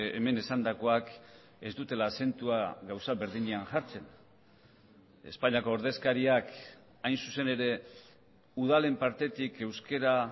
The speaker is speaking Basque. hemen esandakoak ez dutela azentua gauza berdinean jartzen espainiako ordezkariak hain zuzen ere udalen partetik euskara